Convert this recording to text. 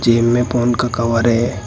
जेब में फोन का कवर है।